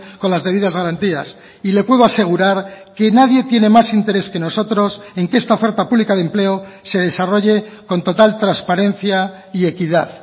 con las debidas garantías y le puedo asegurar que nadie tiene más interés que nosotros en que esta oferta pública de empleo se desarrolle con total transparencia y equidad